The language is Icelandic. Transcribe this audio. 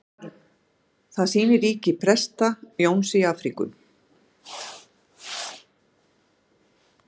Það sýnir ríki Presta-Jóns í Afríku.